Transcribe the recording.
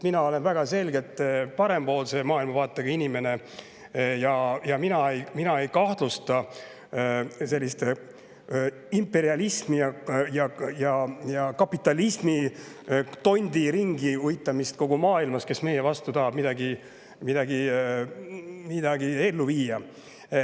Mina olen väga selgelt parempoolse maailmavaatega inimene ja mina ei kahtlusta imperialismi- ja kapitalismitonti, kes uitab ringi kogu maailmas ja tahab meie vastu midagi ellu viia.